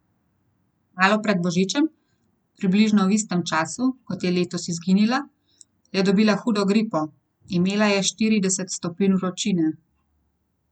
Malo pred božičem, približno v istem času, kot je letos izginila, je dobila hudo gripo, imela je štirideset stopinj vročine.